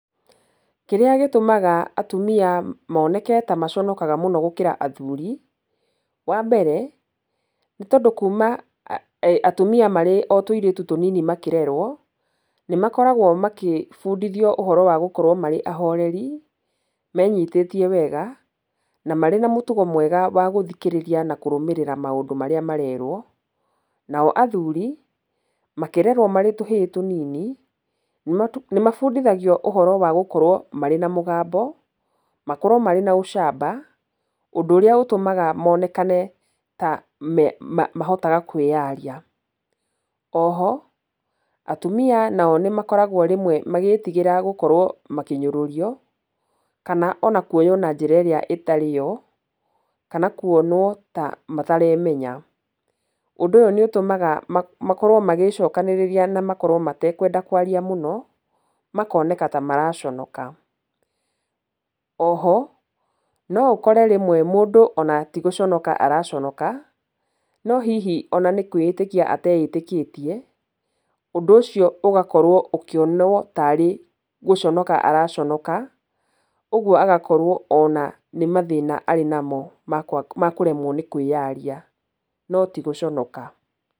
Kĩrĩa gĩtũmaga atumia moneke tamaconokaga mũno gũkĩra athuri, wambere, nĩtondũ kuuma atumia marĩ o tũirĩtu tũnini makĩrerwo, nĩmakoragwo makĩbundithio ũhoro wa gũkorwo marĩ ahoreri, menyitĩtie wega, na marĩ na mũtugo mwega wa gũthikĩrĩria na kũrũmĩrĩra maũndũ marĩa marerwo. Nao athuri makĩrerwo marĩ tũhĩĩ tũnini, nĩmabundithagio ũhoro wa gũkorwo marĩ na mũgambo, makorwo marĩ na ũcamba, ũndũ ũrĩa ũtũmaga monekane ta me, ma, mahotaga kwĩyaria. Oho atumia nao nĩmakoragwo rĩmwe magĩĩtigĩra gũkorwo makĩnyũrũrio, kana ona kuoywo na njĩra ĩrĩa ĩtarĩ yo, kana kwonwo ta mataremenya. Ũndũ ũyũ nĩũtũmaga ma, makorwo magĩcokanĩrĩria na makorwo matekwenda kwaria mũno, makoneka ta maraconoka. Oho no ũkore rĩmwe mũndũ ona ti gũconoka araconoka, no hihi ona nĩ kwĩĩtĩkia ateĩtĩkĩtie, ũndũ ũcio ũgakorwo ũkĩonwo ta arĩ gũconoka araconoka, ũgwo agakorwo ona nĩ mathĩna arĩ namo ma kwa, ma kũremwo nĩ kwĩyaria no ti gũconoka.